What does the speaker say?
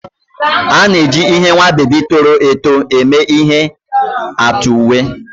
A na-eji ihe nwa bebi toro eto eme ihe atụ uwe.